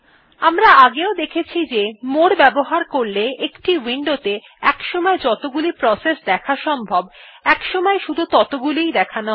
আমরা আগেও দেখেছি যে মোরে বাবহার করলে একটি উইন্ডো তে একসময় যতগুলি প্রসেস দেখা সম্ভব একসময় শুধু ততগুলিই দেখানো হয়